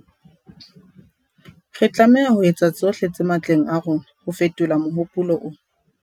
Re tlameha ho etsa tsohle tse matleng a rona ho fetola mohopolo ona.